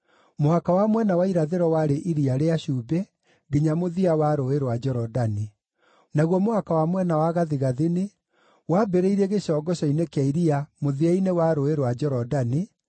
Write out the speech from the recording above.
Mũhaka wa mwena wa irathĩro warĩ Iria rĩa Cumbĩ nginya mũthia wa Rũũĩ rwa Jorodani. Naguo mũhaka wa mwena wa gathigathini wambĩrĩirie gĩcongoco-inĩ kĩa iria mũthia-inĩ wa Rũũĩ rwa Jorodani,